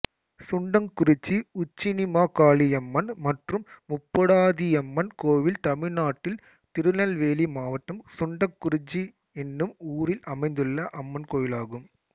சுண்டங்குறிச்சி உச்சினிமாகாளியம்மன் மற்றும் முப்புடாதியம்மன் கோயில் தமிழ்நாட்டில் திருநெல்வேலி மாவட்டம் சுண்டங்குறிச்சி என்னும் ஊரில் அமைந்துள்ள அம்மன் கோயிலாகும்